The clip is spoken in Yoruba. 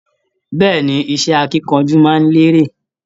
Bẹ́ẹ̀ni, iṣẹ akínkanjú máa n lere.